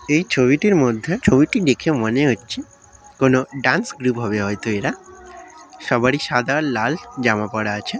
এই ছবিটির মধ্যে ছবিটি দেখে মনে হচ্ছে কোন ডান্স গ্রুপ হবে হয়তো এরা সবারই সাদা আর লাল জামা পড়া আছে।